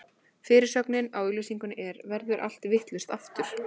Fyrirsögnin á auglýsingunni er: Verður allt vitlaust, aftur?